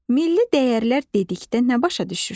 Milli dəyərlər dedikdə nə başa düşürsən?